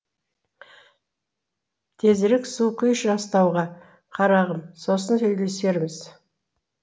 тезірек су құйшы астауға қарағым сосын сөйлесерміз